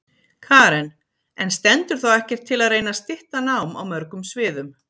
Karen: En stendur þá ekkert til að reyna stytta nám á mörgum sviðum?